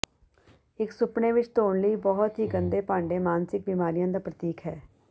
ਇੱਕ ਸੁਪਨੇ ਵਿੱਚ ਧੋਣ ਲਈ ਬਹੁਤ ਹੀ ਗੰਦੇ ਭਾਂਡੇ ਮਾਨਸਿਕ ਬਿਮਾਰੀਆਂ ਦਾ ਪ੍ਰਤੀਕ ਹੈ